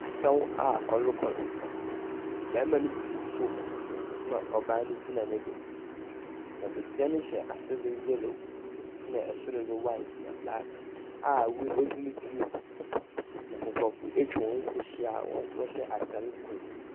Asaw a ɔrekɔdo. Bɛrima no butuw fam na ɔbaa no gyina no do. Na besia no hyɛ asede yɛlo na ɛsoro de blak na hwaet a ɔde retirim. Na nkurɔfo etwa wɔn ho ahyia a wɔ hyɛ ataade koro.